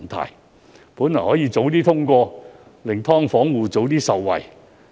《條例草案》本應早已通過，令"劏房戶"早些受惠。